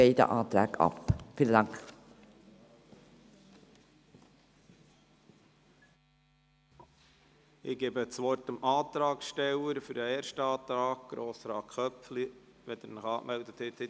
Ich erteile Grossrat Köpfli, dem Antragsteller des ersten Antrags, das Wort, sobald er sich angemeldet hat.